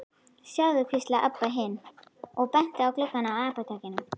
Sjáðu, hvíslaði Abba hin og benti á gluggana á apótekinu.